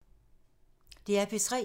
DR P3